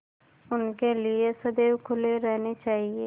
उनके लिए सदैव खुले रहने चाहिए